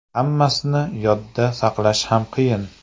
Hammasini yodda saqlash ham qiyin!